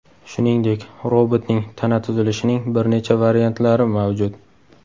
Shuningdek, robotning tana tuzilishining bir necha variantlari mavjud.